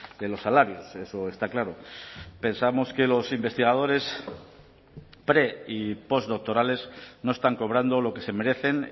de los salarios eso está claro pensamos que los investigadores pre y post doctorales no están cobrando lo que se merecen